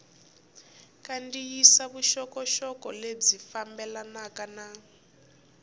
kandziyisa vuxokoxoko lebyi fambelanaka na